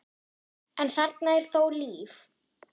en þarna er þó líf.